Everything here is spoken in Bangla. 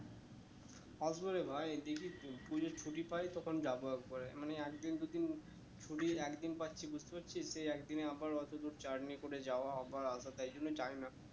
আসবো রে ভাই দেখি পুজোর ছুটি পাই তখন যাবো একবারে মানে একদিন দুদিন ছুটির একদিন পাচ্ছি বুঝতে পারছিস সেই একদিনেই আবার অত দূর journey করে যাওয়া আবার আসা তাই জন্যই যাই না